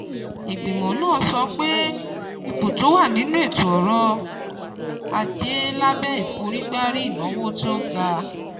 Ìgbìmọ̀ náà sọ pé ipò tó wà nínú ètò ọ̀rọ̀ ajé lábẹ́ ìforígbárí ìnáwó tó ga